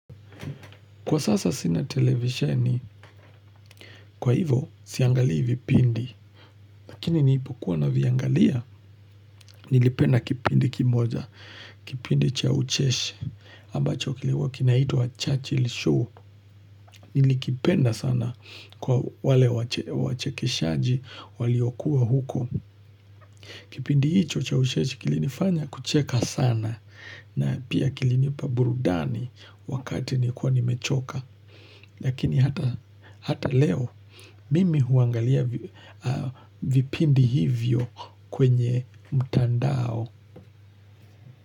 Kwa sasa sina televisheni, kwa hivo siangalii vipindi. Lakini niipo kuwa naviangalia, nilipenda kipindi kimoja. Kipindi chaucheshi, ambacho kiliwa kinaitwa Churchill Show. Nilikipenda sana kwa wale wachekeshaji, waliokuwa huko. Kipindi hicho chaucheshi kilinifanya kucheka sana. Na pia kilinipa burudani wakati ni kuwa nimechoka. Lakini hata leo mimi huangalia vipindi hivyo kwenye mtandao.